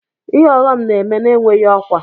Ihe ọghọm na-eme na-enweghị ọkwa.